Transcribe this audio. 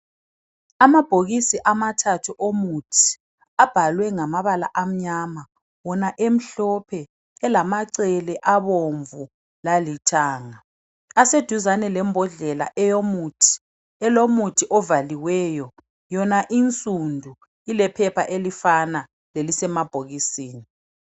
amabhokisi amathathu omuthi abhalwe ngamabala amnyama wona emhlophe elamacele abomvu lalithanga aseduzane lembodlela eyomuthi elomuthi ovaliweyo yona insundu ilephepha elifana lelisemabhokisini